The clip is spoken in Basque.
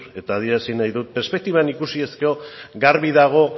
eta adierazi nahi dut perspektiban ikusiz gero garbi dago